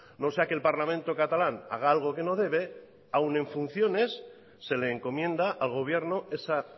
no sea que el parlamento catalán haga algo que no debe aún en funciones se le encomienda al gobierno esa